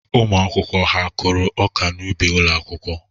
Ụmụ akwụkwọ ha kụrụ ọka n'ubi ụlọ akwụkwọ?